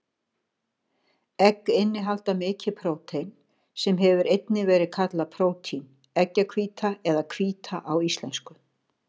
Egg innihalda mikið prótein, sem hefur einnig verið kallað prótín, eggjahvíta eða hvíta á íslensku.